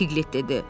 Piqlet dedi.